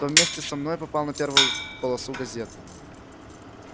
то вместе со мной попал на первую полосу газеты